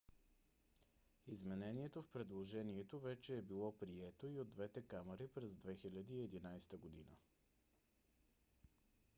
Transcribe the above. изменението в предложението вече е било прието и от двете камари през 2011 г